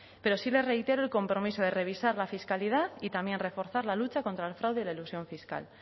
pero sí le reitero el compromiso de revisar la fiscalidad y también reforzar la lucha contra el fraude y la elusión fiscal